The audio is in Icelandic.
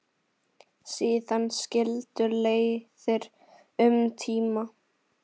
Síðan skildu leiðir um tíma.